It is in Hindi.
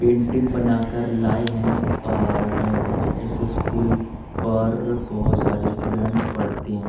पेंटिंग बना कर लाए हैं और इस स्कूल पर बहुत सारे स्टूडेंट पढ़ते हैं।